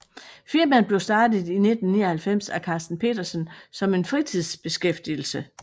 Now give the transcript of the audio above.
Firmaet blev startet i 1999 af Karsten Petersen som en fritidsbeskæftigelse